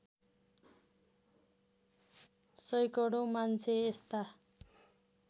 सैकडौँ मान्छे यस्ता